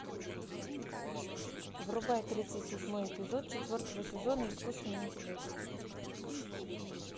врубай тридцать седьмой эпизод четвертого сезона искусственный интеллект